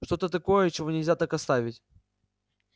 что-то такое чего нельзя так оставить